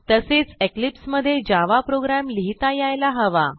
तसेच इक्लिप्स मधे Java program लिहिता यायला हवा